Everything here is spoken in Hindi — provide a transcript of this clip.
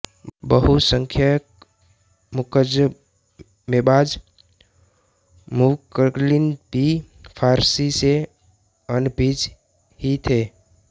बहुसंख्यक मुकदमेबाज मुवक्किल भी फारसी से अनभिज्ञ ही थे